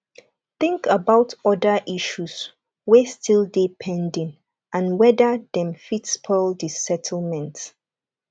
think about oda issues wey still dey pending and wether dem fit spoil di settlement